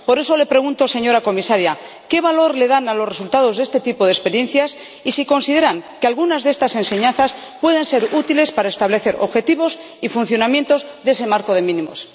Por eso le pregunto, señora Comisaria, qué valor le dan a los resultados de este tipo de experiencias y si consideran que algunas de estas enseñanzas pueden ser útiles para establecer objetivos y funcionamientos de ese marco de mínimos.